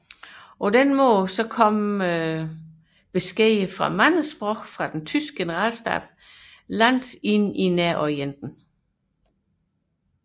Således fandt meddelelser på mange sprog fra den tyske generalstab vej til langt ind i Nærorienten